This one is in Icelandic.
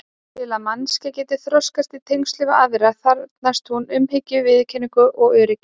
Til að manneskjan geti þroskast í tengslum við aðra þarfnist hún umhyggju, viðurkenningar og öryggis.